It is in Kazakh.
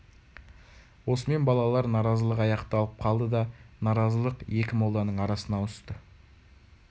осымен балалар наразылығы аяқталып қалды да наразылық екі молданың арасына ауысты